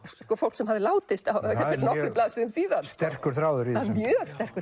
fólk sem hafði látist fyrir nokkrum blaðsíðum síðan sterkur þráður í þessu mjög sterkur